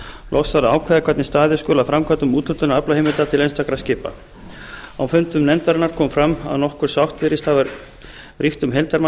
loks þarf að ákveða hvernig staðið skuli að framkvæmd úthlutunar aflaheimilda til einstakra skipa á fundum nefndarinnar kom fram að nokkur sátt virðist hafa ríkt um heildarmagn byggðakvótans